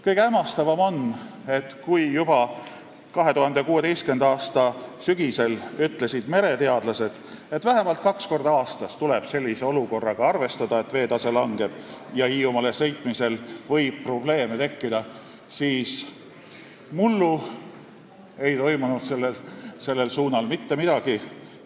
Kõige hämmastavam on, et kui juba 2016. aasta sügisel ütlesid mereteadlased, et vähemalt kaks korda aastas tuleb sellise olukorraga arvestada, et veetase langeb ja Hiiumaale sõitmisel võib probleeme tekkida, siis mullu ei toimunud sellel suunal mitte midagi.